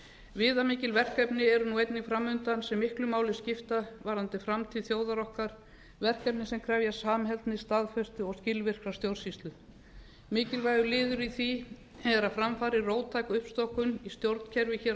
viðamikil verkefni eru einnig fram undan sem miklu máli skipta varðandi framtíð þjóðar okkar verkefni sem krefjast samheldni staðfestu og skilvirkrar stjórnsýslu mikilvægur liður í því er að fram fari róttæk uppstokkun í stjórnkerfi hér á